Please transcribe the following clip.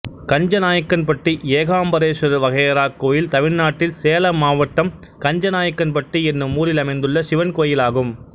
கஞ்சநாயக்கன்பட்டி ஏகாம்பரேஸ்வரர் வகையறா கோயில் தமிழ்நாட்டில் சேலம் மாவட்டம் கஞ்சநாயக்கன்பட்டி என்னும் ஊரில் அமைந்துள்ள சிவன் கோயிலாகும்